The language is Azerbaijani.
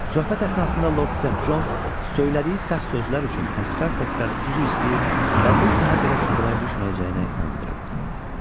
Söhbət əsnasında Lord Sent Con söylədiyi səhv sözlər üçün təkrar-təkrar üzr istəyir və bir daha belə şübhələrə düşməyəcəyinə inandırırdı.